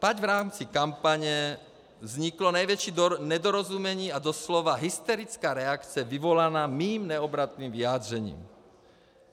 Tak v rámci kampaně vzniklo největší nedorozumění a doslova hysterická reakce vyvolaná mým neobratným vyjádřením.